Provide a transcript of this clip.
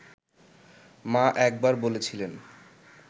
মা একবার বলেছিলেন